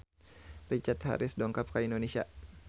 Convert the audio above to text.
Richard Harris dongkap ka Indonesia